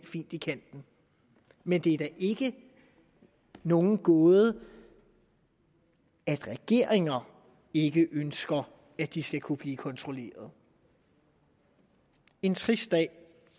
fint i kanten men det er da ikke nogen gåde at regeringer ikke ønsker at de skal kunne blive kontrolleret en trist dag